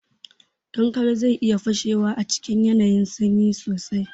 Kankare zai iya fashewa a cikin yanayin sanyi sosai.